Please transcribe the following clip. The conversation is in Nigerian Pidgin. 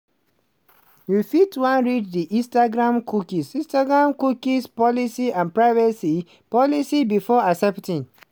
you fit wan read di instagramcookie instagramcookie policyandprivacy policybefore accepting.